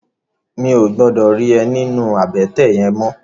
Mi ó gbòdò ri è ninú àbètè yèn mò